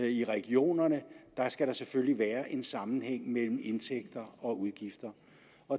i regionerne skal der selvfølgelig være en sammenhæng mellem indtægter og udgifter